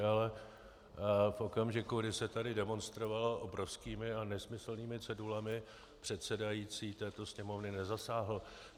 Ale v okamžiku, kdy se tady demonstrovalo obrovskými a nesmyslnými cedulemi, předsedající této Sněmovny nezasáhl.